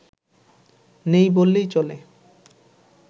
নেই বললেই চলে